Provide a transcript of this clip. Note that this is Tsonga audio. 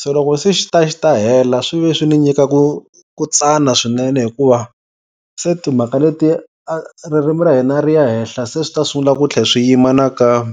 Se loko se xi ta xi ta hela swi ve swi ni nyika ku ku tsana swinene hikuva se timhaka leti ririmi ra hina ri ya henhla se swi ta sungula ku tlhe swi yima nakambe.